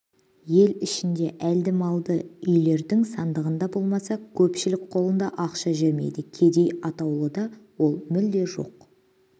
ел ішінде әлді-малды үйлердің сандығында болмаса көпшілік қолында ақша жүрмейді қедей атаулыда ол мүлде жоқ